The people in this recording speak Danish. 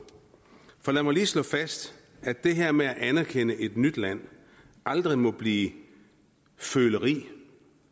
for lad mig lige slå fast at det her med at anerkende et nyt land aldrig må blive føleri